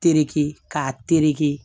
Tereke k'a tereke